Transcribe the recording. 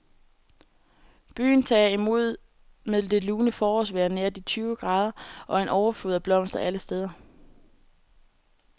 Byen tager imod med det lune forårsvejr nær de tyve grader og en overflod af blomster alle steder.